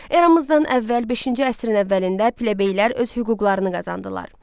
Eramızdan əvvəl beşinci əsrin əvvəlində plebeylər öz hüquqlarını qazandılar.